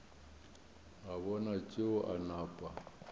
a bona tšeo a napa